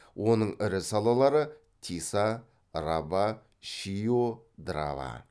оның ірі салалары тиса раба шио драва